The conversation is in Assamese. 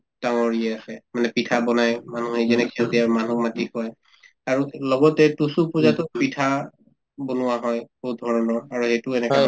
ডাঙৰ আছে মানে পিঠা বনাই মানুহে যেনেকে মানুহক মাতি কৰে আৰু লগতে তুচু পূজাতো পিঠা বনোৱা হয় বহুত ধৰণৰ আৰু এইটো এনেকা